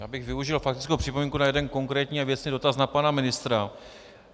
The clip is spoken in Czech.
Já bych využil faktickou připomínku na jeden konkrétní a věcný dotaz na pana ministra.